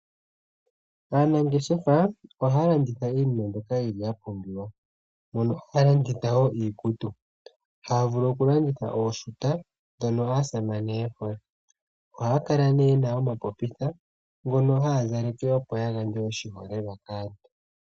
Aanangeshefa ohaya landitha iinima mbyoka yili ya pumbiwa mono haya landitha wo iikutu. Haya vulu oku landitha ooshuta dhono aasamane ohaya kala nee yena omapopitha ngono haya zaleke opo ya gandje oshiholelwa kaantu.